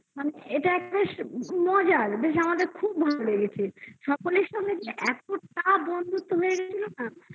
এটা একটা মজার বেশ আমাদের খুব ভালো লেগেছে সকলের সাথে যে এতটা বন্ধুত্ব হয়ে গিয়েছিল না